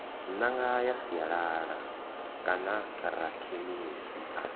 ṅanga ya sialala kanarakhemisi a